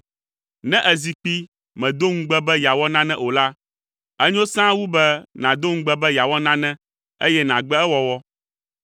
Ne èzi kpi, mèdo ŋugbe be yeawɔ nane o la, enyo sãa wu be nàdo ŋugbe be yeawɔ nane eye nàgbe ewɔwɔ.